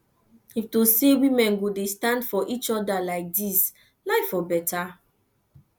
if to say women go dey stand for each other like dis life for better